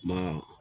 Ma